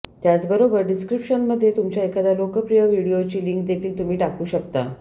त्याचबरोबर डिस्क्रिप्शनमध्ये तुमच्या एखाद्या लोकप्रिय व्हिडिओची लिंक देखील तुम्ही टाकू शकता